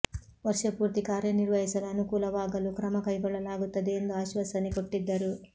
ವರ್ಷ ಪೂರ್ತಿ ಕಾರ್ಯ ನಿರ್ವಹಿಸಲು ಅನುಕೂಲವಾಗಲು ಕ್ರಮ ಕೈಗೊಳ್ಳಲಾಗುತ್ತದೆ ಎಂದು ಆಶ್ವಾಸನೆ ಕೊಟ್ಟಿದ್ದರು